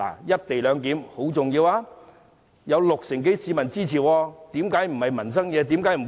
"一地兩檢"十分重要，有六成多市民支持，為何不是民生議題？